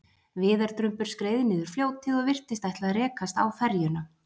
Viðardrumbur skreið niður fljótið og virtist ætla að rekast á ferjuna.